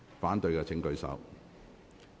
反對的請舉手。